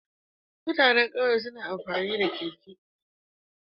Mutanan ƙauye suna amfani da keke